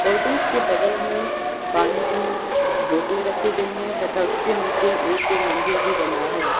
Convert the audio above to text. Cottons के बगल में पानी की बोतलें रखी गई हैं तथा उसके नीचे एक के मंदिर भी बना है।